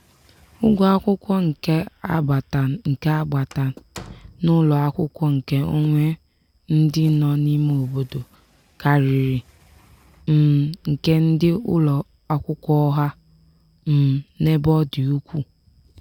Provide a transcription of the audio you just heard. ụgwọ akwụkwọ nke agbata nke agbata n'ụlọ akwụkwọ nke onwe ndị nọ n'ime obodo karịrị um nke ndị ụlọ akwụkwọ ọha um n'ebe ọ dị ukwuu.